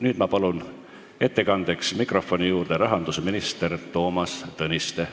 Nüüd ma palun ettekandeks mikrofoni juurde rahandusminister Toomas Tõniste.